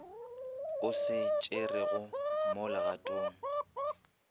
o se tšerego mo legatong